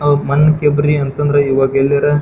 ಮಣ್ಣಕೆ ಬರಿ ಅಂತ ಅಂದ್ರೆ ಇವಾಗ್ ಎಲ್ಲೆಡೆ --